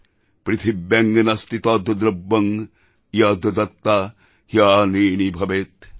পৃথীব্যাং নাস্তি তদ্দ্রব্যং ইয়দ্দত্ত্বা হ্যণৃণী ভবেৎ